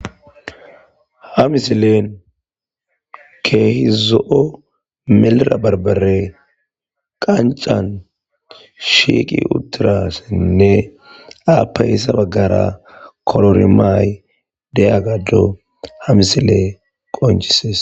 ha misileen keehi zo'o melira barbare qancan shiiqi utirasenne apayisa baggara kororimaay de'iyassa ha misiley qoncises